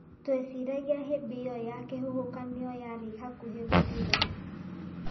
Tweciragia hĩndĩ ĩyo ya kĩhuhũkanio yarĩ hakuhĩ gũthira.